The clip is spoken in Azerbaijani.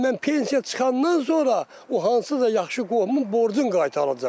Hələ mən pensiya çıxandan sonra o hansısa yaxşı qohumun borcun qaytaracam.